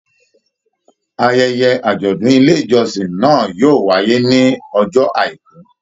Ayẹyẹ ajọdun ilé ìjọsìn náà yóò wáyé ní ọjọ́ àìkú.